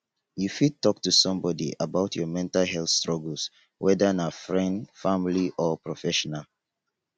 you fit talk to someone about your mental health struggles whether na friend family or professional.